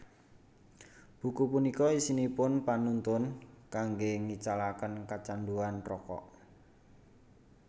Buku punika isinipun panuntun kanggé ngicalaken kecanduan rokok